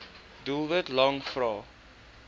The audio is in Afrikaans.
doelwit lang vrae